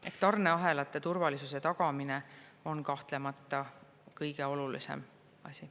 Ehk tarneahelate turvalisuse tagamine on kahtlemata kõige olulisem asi.